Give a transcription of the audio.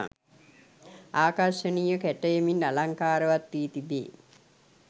ආකර්ශනීය කැටයමින් අලංකාරවත් වී තිබේ.